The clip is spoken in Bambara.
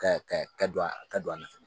Ka ka ka don a ka don a ma